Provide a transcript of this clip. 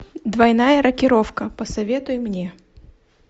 двойная рокировка посоветуй мне